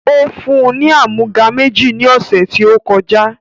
Ó fún UN ni àmúga méjì ni ọ̀sẹ̀ tí ó kọjá